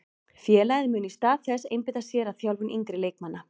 Félagið mun í stað þess einbeita sér að þjálfun yngri leikmanna.